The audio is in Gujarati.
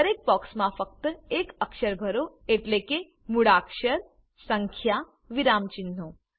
દરેક બોક્સમાં ફક્ત એક અક્ષર ભરો એટલે કે મૂળાક્ષર સંખ્યા વિરામચિન્હો